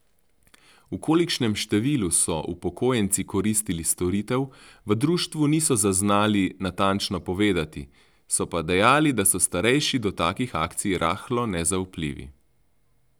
V kolikšnem številu so upokojenci koristili storitev, v društvu niso znali natančno povedati, so pa dejali, da so starejši do takšnih akcij rahlo nezaupljivi.